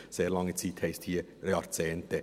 Sehr lange Zeit heisst hier: Jahrzehnte.